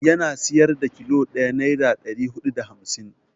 Yana siyar da kilo ɗaya naira ɗari huɗu da hamsin.